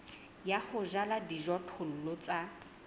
ya ho jala dijothollo tse